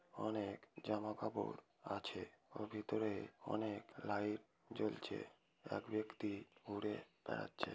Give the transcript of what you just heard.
অনেক জামাকাপড় আছে। ওর ভেতরে অনেক লাইট জ্বলছে এক ব্যক্তি ঘুরে বেড়াচ্ছে।